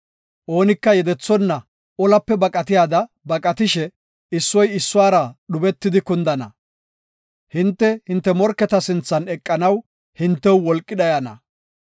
Oonika yedethonna olape baqatiyada baqatishe, issoy issuwara dhubetidi kundana. Hinte, hinte morketa sinthan eqanaw hintew wolqi dhayana.